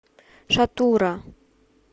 шатура